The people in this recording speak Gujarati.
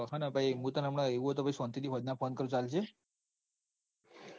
હન પહી ભાઈ હું તને સોનતિ થી સોજના phone કરું ચાલશે.